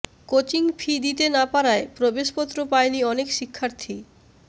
coaching fee দিতে না পারায় প্রবেশপত্র পায়নি অনেক শিক্ষার্থী